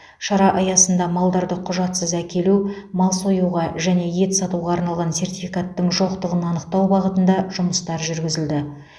шара аясында малдарды құжатсыз әкелу мал союға және ет сатуға арналған сертификаттың жоқтығын анықтау бағытында жұмыстар жүргізілді